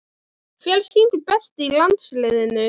Hver syngur best í landsliðinu?